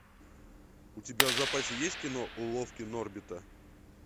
у тебя в запасе есть кино уловки норбита